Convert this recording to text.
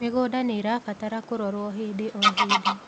mĩgũnda nĩirabatara kurorwo hĩndĩ o hĩndĩ